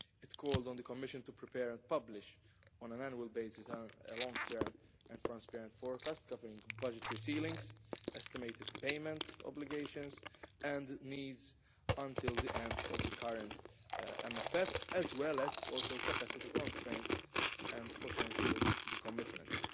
It called on the Commission to prepare and publish, on an annual basis, a long term and transparent forecast covering budgetary ceilings, estimated payment obligations and needs until the end of the current MFF, as well as capacity constraints and potential decommitments.